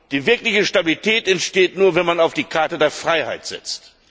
Die wirkliche Stabilität entsteht nur, wenn man auf die Karte der Freiheit setzt.